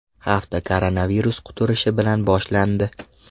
Hafta koronavirus quturishi bilan boshlandi.